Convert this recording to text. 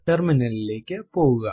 terminal ലിലേക്ക് പോകുക